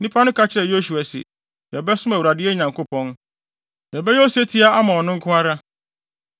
Nnipa no ka kyerɛɛ Yosua se, “Yɛbɛsom Awurade, yɛn Nyankopɔn. Yɛbɛyɛ osetie ama ɔno nko ara.”